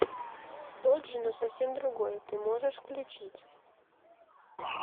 тот же но совсем другой ты можешь включить